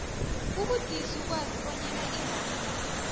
kubudisi ukwazi bonyana iranda